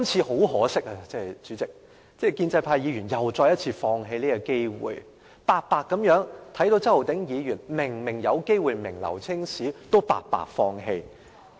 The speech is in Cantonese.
可惜，建制派議員再次放棄這個機會，明明看到周浩鼎議員有機會名留青史，也白白放棄。